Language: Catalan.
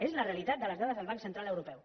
és la realitat de les dades del banc central europeu